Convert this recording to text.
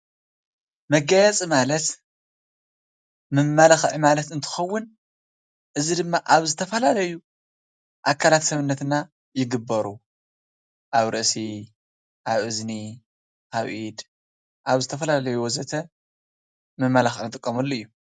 መጋየፂ ማለት መመላኽዒ ማለት እንትኸውን እዙ ድማ ኣብ ዝተፈላለዩ ኣካላት ሰውነትና ይግበሩ ።ኣብ ርእሲ፣ ኢድ፣ እዝኒ አብ ዝተፈላለዩ ወዘተ መመላኽዒ እንጥቀመሉ እዩ።